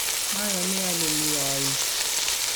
mayoni ale mi ooik